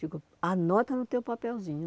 Digo, anota no teu papelzinho.